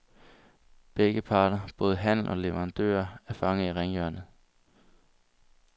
Begge parter, både handel og leverandører, er fanget i ringhjørnet.